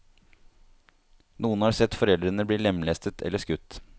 Noen har sett foreldrene bli lemlestet eller skutt.